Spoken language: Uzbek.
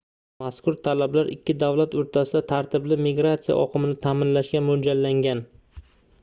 mazkur talablar ikki davlat oʻrtasida tartibli migratsiya oqimini taʼminlashga moʻljallangan